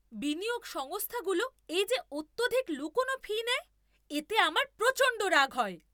বিনিয়োগ সংস্থাগুলো এই যে অত্যধিক লুকানো ফি নেয়, এতে আমার প্রচণ্ড রাগ হয়।